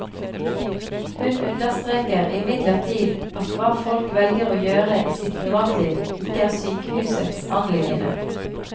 Hun understreker imidlertid at hva folk velger å gjøre i sitt privatliv, ikke er sykehusets anliggende.